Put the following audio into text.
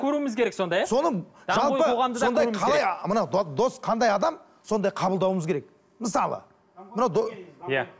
көруіміз керек сонда иә соның жалпы сондай қалай мына дос қандай адам сондай қабылдауымыз керек мысалы мынау иә